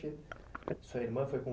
Sua irmã foi com